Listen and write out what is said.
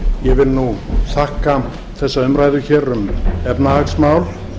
ég vil þakka þessa umræðu um efnahagsmál